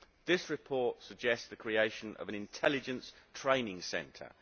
This report suggests the creation of an intelligence training centre'.